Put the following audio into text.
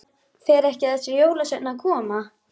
Fer ekki þessi jólasveinn að koma?